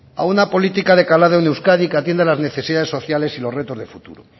a una política de calado en euskadi que atienda las necesidades sociales y los retos de futuro